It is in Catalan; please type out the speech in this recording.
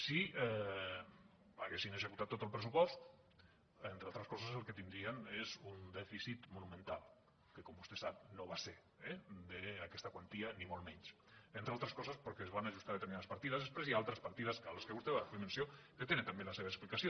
si haguessin executat tot el pressupost entre altres coses el que tindrien és un dèficit monumental que com vostè sap no va ser d’aquesta quantia ni molt menys entre altres coses perquè es van ajustar determinades partides després i altres partides a que vostè va fer menció que tenen també la seva explicació